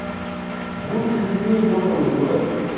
будьте людьми ёбаный в рот